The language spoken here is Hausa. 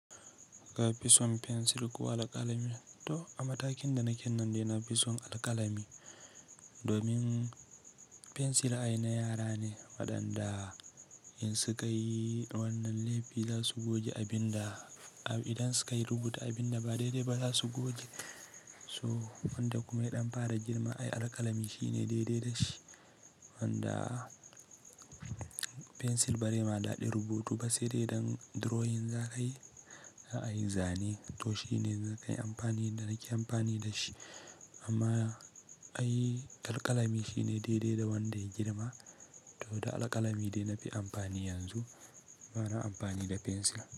Kafi son pencil ko alkalami, to a matakin da naken nan dai nafi son alkalami. Domin pencil ai na yara ne, waɗanda in suka yi wannan laifi za su goge abin da, idan suka yi rubuta abin da ba dai-dai ba za su goge. So wanda kuma idan fara girma ai alkalami shi ne dai-dai da shi. Wanda pencil bari ma daɗe rubutu ba sai dai drawing za ka yi, ai zane. To shi ne za kai amfani dan nake amfani da shi. Amma ai alkalami shi ne dai-dai da wanda ya girma, to da alkalami dai na fi amfani yanzu, bana amfani da pencil.